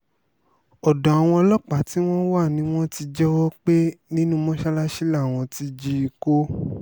ọ̀dọ̀ àwọn ọlọ́pàá tí wọ́n wà ni wọ́n ti jẹ́wọ́ pé nínú mọ́sálásì làwọn ti jí i kó